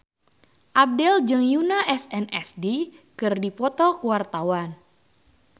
Abdel jeung Yoona SNSD keur dipoto ku wartawan